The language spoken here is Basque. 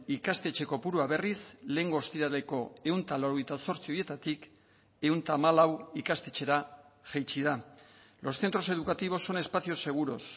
ikastetxe kopurua berriz lehengo ostiraleko ehun eta laurogeita zortzi horietatik ehun eta hamalau ikastetxera jaitsi da los centros educativos son espacios seguros